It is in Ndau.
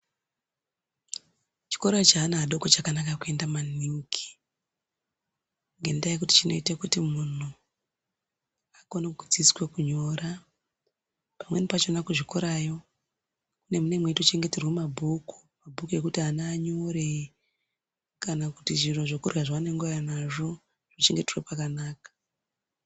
Chikora cheana adoko chakanaka kuenda maningi ngendaa yekuti chinoite kuti muntu akone kudzidziswe kunyora pamweni pachona kuzvikorayo mune mweitochengeterwe mabhuku, mabhuku ekuti ana anyore kana kuti zviro zvekurya zvavanenge vauya nazvo zvichengeterwe pakanaka.